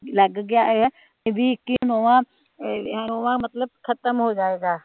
ਲੱਗ ਗਿਆ ਹੋਇਆ ਏਹਦੀ ਇਕ ਹੀ ਨੂੰਹ ਆ